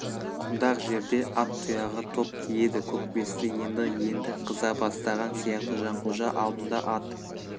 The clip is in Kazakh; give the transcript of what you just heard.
құмдақ жерде ат тұяғы топ тиеді көкбесті енді енді қыза бастаған сияқты жанқожа алдында ат